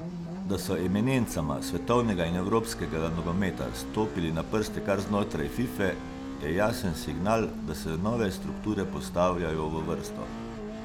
Da so eminencama svetovnega in evropskega nogometa stopili na prste kar znotraj Fife, je jasen signal, da se nove strukture postavljajo v vrsto.